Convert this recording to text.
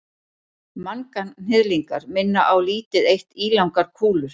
manganhnyðlingar minna á lítið eitt ílangar kúlur